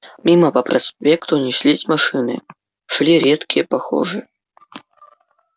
мимо по проспекту неслись машины шли редкие похожие